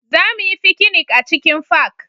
Za mu yi fikinik a cikin fak